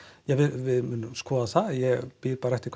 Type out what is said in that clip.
við munum skoða það ég bíð bara eftir hvað